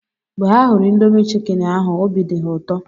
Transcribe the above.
Mgbe ha hụrụ indomi chikini ahụ, obi di ha ụtọ